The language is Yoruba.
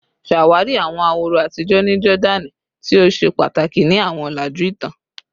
Ṣawari awọn ahoro atijọ ni Jordani ti o ṣe pataki ni awọn ọlaju itan